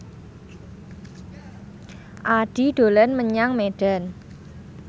Addie dolan menyang Medan